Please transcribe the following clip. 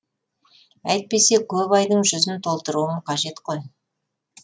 әйтпесе көп айдың жүзін толтыруым қажет қой